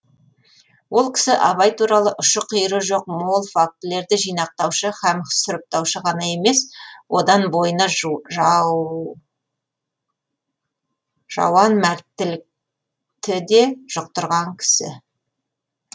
ол кісі абай туралы ұшы қиыры жоқ мол фактілерді жинақтаушы һәм сұрыптаушы ғана емес одан бойына жауан мәрттілікті де жұқтырған кісі